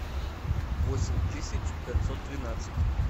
восемь тысяч пятьсот двенадцать